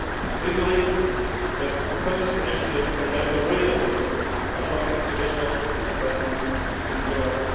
areas. We believe that the proposed initiative can make a real difference to unlocking additional investment in